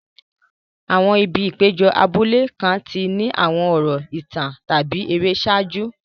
Àwọn ibi ìpéjọ abúlé kan ti ní àwọn ọ̀rọ̀ ìtàn tàbí ère ṣáájú.